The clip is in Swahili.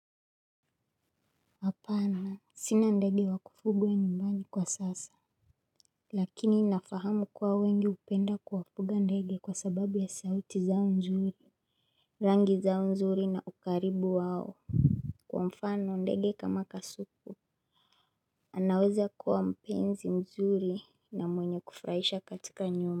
Hapana sina ndege wa kufugwa nyumbani kwa sasa. Lakini nafahamu kuwa wengi hupenda kuwafuga ndege kwa sababu ya sauti zao nzuri. Rangi zao nzuri na ukaribu wao kwa mfano ndege kama kasuku anaweza kuwa mpenzi mzuri na mwenye kufurahisha katika nyumba.